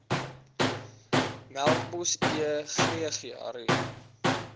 melkbos e gregaria